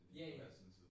Ja ja